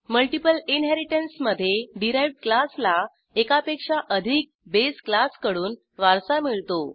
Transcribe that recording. multiple इनहेरिटन्समधे derived क्लासला एकापेक्षा अधिक बेस क्लासकडून वारसा मिळतो